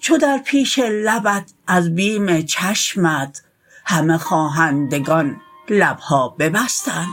چو در پیش لبت از بیم چشمت همه خواهندگان لبها ببستند